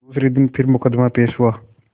दूसरे दिन फिर मुकदमा पेश हुआ